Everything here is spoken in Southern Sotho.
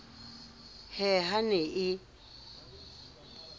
he ha e ne e